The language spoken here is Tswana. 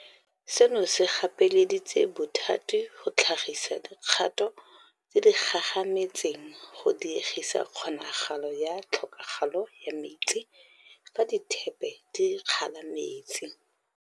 Seno se gapeleditse bothati go tlhagisa dikgato tse di gagametseng go diegisa kgonagalo ya Tlhokagalo ya Metsi, fa dithepe di kgala metsi.